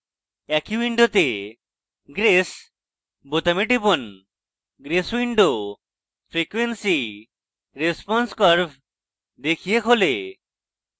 একই window grace বোতামে টিপুন grace window frequency response curve দেখিয়ে খোলে